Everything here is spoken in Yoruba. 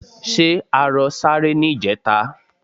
Ṣé arọ sáré ní ìjẹta?